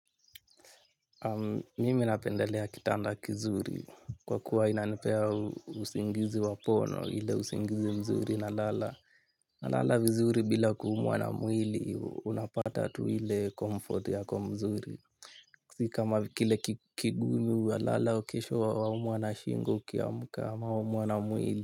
Mimi napendelea kitanda kizuri kwa kuwa inanipea usingizi wa pono ile usingizi mzuri na lala. Na lala vizuri bila kuumuwa na mwili unapata tuile comfort yako mzuri. Sikama kile kigumu wa lala kesho wa umwa na shingo kiamka ama waumwa na mwili.